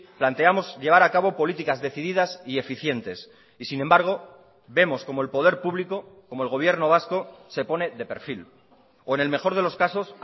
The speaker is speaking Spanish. planteamos llevar acabo políticas decididas y eficientes y sin embargo vemos como el poder público como el gobierno vasco se pone de perfil o en el mejor de los casos